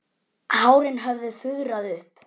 Hárin höfðu fuðrað upp.